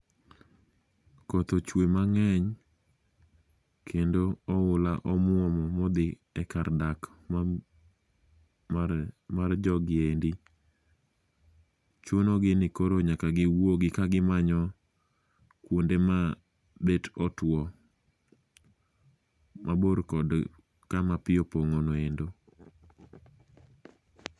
Koth ochwe mang'eny kendo oula omwomo ma odhi e kar dak mar jogi endi. Chunogi ni koro nyaka giwuogi ka gimanyo kuonde ma bet otuo mabor kod kama pi opong'ono endo.